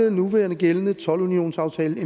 og nuværende gældende toldunionsaftale